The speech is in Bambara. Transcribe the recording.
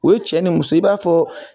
U ye cɛ ni muso ye i b'a fɔ